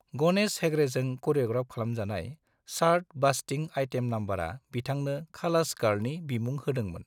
गणेश हेगड़ेजों क'रिय'ग्राफ खालामजानाय chart busting item नंबरआ बिथांनो 'खालास गार्ल'नि बिमुं होदोंमोन।